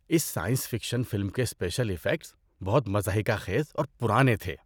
اس science fiction film کے special effects بہت مضحکہ خیز اور پرانے تھے۔